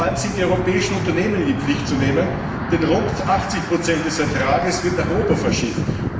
Vor allem sind die europäischen Unternehmen in die Pflicht zu nehmen, denn rund 80 des Ertrags werden nach Europa verschifft.